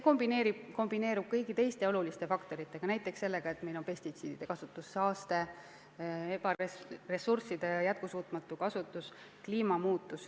See kombineerub kõigi teiste oluliste faktoritega, näiteks sellega, et meil on pestitsiidide kasutamise saaste, ressursside jätkusuutmatu kasutus, kliimamuutus.